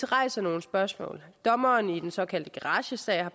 rejser nogle spørgsmål dommeren i den såkaldte garagesag har